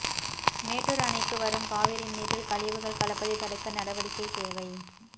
மேட்டூா் அணைக்கு வரும் காவிரி நீரில் கழிவுகள் கலப்பதைத் தடுக்க நடவடிக்கை தேவை